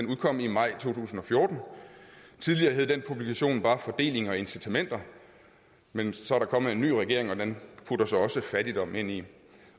udkom i maj to tusind og fjorten tidligere hed denne publikation bare fordeling og incitamenter men så er der kommet en ny regering og den putter så også fattigdom med ind i